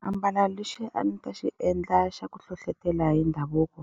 Xiambalo lexi a ndzi ta xi endla xa ku hlohlotela hi ndhavuko,